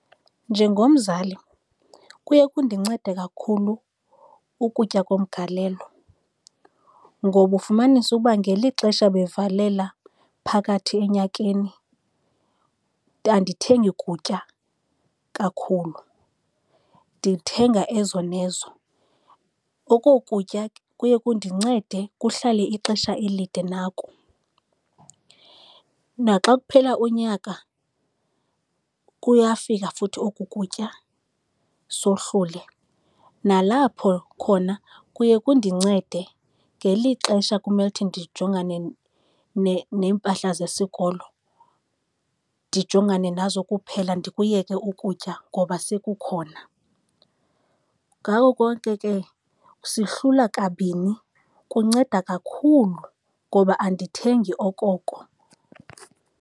Njengomzali kuye kundincede kakhulu ukutya komgalelo ngoba ufumanisa ukuba ngeli xesha bevalela phakathi enyakeni andithengi kutya kakhulu, ndithenga ezo nezo. Oko kutya kuye kundincede kuhlale ixesha elide nako. Naxa kuphela unyaka kuyafika futhi oku kutya sohlule. Nalapho khona kuye kundincede ngeli xesha kumele ukuthi ndijongane neempahla zesikolo, ndijongane nazo kuphela ndikuyeke ukutya ngoba sekukhona. Ngako konke ke sihlula kabini. Kunceda kakhulu ngoba andithengi okoko.